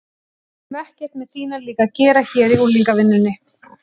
Við höfum ekkert með þína líka að gera hér í unglingavinnunni.